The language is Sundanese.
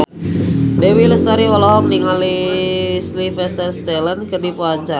Dewi Lestari olohok ningali Sylvester Stallone keur diwawancara